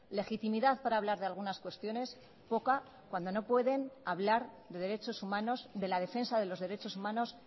legitimidad para hablar de algunas cuestiones poca cuando no pueden hablar de derechos humanos de la defensa de los derechos humanos